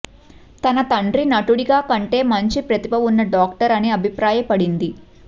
తన తండ్రి నటుడిగా కంటే మంచి ప్రతిభ ఉన్న డాక్టర్ అని అభిప్రాయపడింది